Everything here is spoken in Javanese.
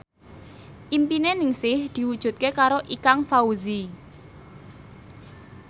impine Ningsih diwujudke karo Ikang Fawzi